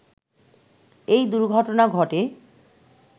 এই দুর্ঘটনা ঘটে